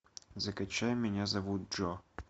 закачай меня зовут джо